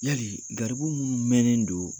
Yali gariribu minnu mɛnnen don